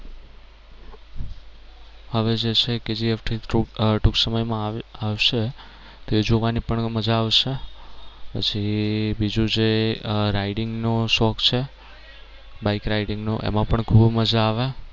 હવે જે છે એ Kgf ટૂંક ટૂંક સમય માં આવે આવશે તો એ જોવાની પણ મજા આવશે પછી બીજું છે આહ riding નો શોખ છે bike riding નો એમાં પણ ખૂબ મજા આવે.